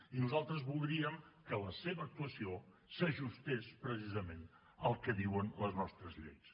i nosaltres voldríem que la seva actuació s’ajustés precisament al que diuen les nostres lleis